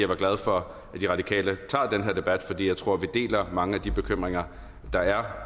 var glad for at de radikale tager den her debat fordi jeg tror at vi deler mange af de bekymringer der